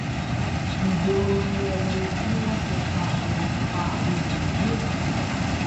ìgboro ni ẹ wo bí wọn ṣe pa àwọn pa àwọn èèyàn ní ìbarapá